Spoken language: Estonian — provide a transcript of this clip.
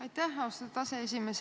Aitäh, austatud aseesimees!